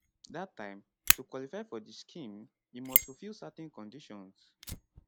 dat time to qualify for di scheme you must fulfil certain conditions